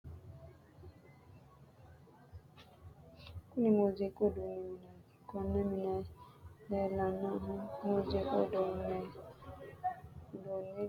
Kunni muuziiqu uduunni mineeti. Konne mine leelanohu muuziiqu uduunni gitaarete. Tenne gitaare loonsannihu angate ogimanninna haqu maashinenniiti. Horoseno faarsinnanni woyetenna sirba sirbinnanni woyite horoonsi'nanni.